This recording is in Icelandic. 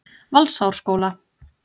Valsárskóla